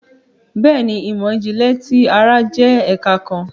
Béèni, imọ-jinlẹ ti ara jẹ ẹka kàn